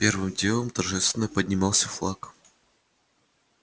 первым делом торжественно поднимался флаг